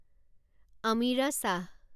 Amira Shah